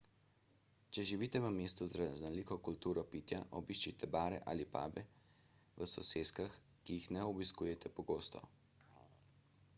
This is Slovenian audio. če živite v mestu z raznoliko kulturo pitja obiščite bare ali pube v soseskah ki jih ne obiskujete pogosto